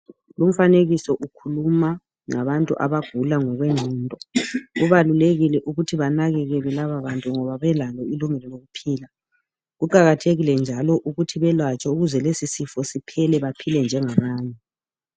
Lumfanekiso ukhuluma ngabantu abagula ngokwengqondo kubalulekile ukuthi benakekelwe lababantu ngoba belalo ilungelo lokuphila kuqakathekile njalo ukuthi belatshwe ukuze lesisifo siphele ukuze baphile njengabanye.